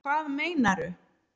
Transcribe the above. Hvað meinaru